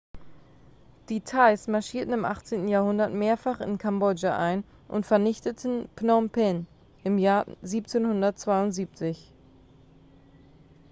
die thais marschierten im 18. jahrhundert mehrfach in kambodscha ein und vernichteten phnom penh im jahr 1772